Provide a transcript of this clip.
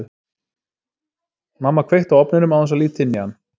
Mamma kveikti á ofninum án þess að líta inn í hann.